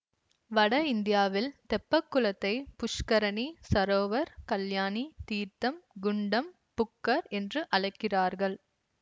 வட இந்தியாவில் தெப்பக்குளத்தை புஷ்கரணி சரோவர் கல்யாணி தீர்த்தம் குண்டம் புக்கர் என்று அழைக்கிறார்கள்